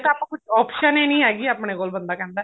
ਆਪਣੇ ਕੋਲ option ਹੀ ਨੀ ਹੈਗੀ ਆਪਣੇ ਕੋਲ ਬੰਦੇ ਕਹਿੰਦਾ